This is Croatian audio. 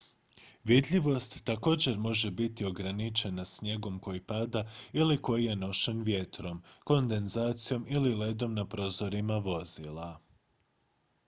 vidljivost također može biti ograničena snijegom koji pada ili koji je nošen vjetrom kondenzacijom ili ledom na prozorima vozila